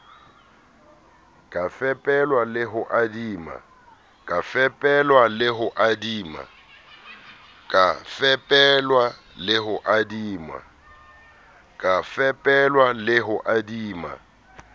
ka fepelwa le ho adima